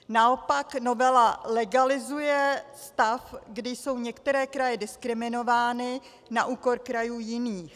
Naopak novela legalizuje stav, kdy jsou některé kraje diskriminovány na úkor krajů jiných.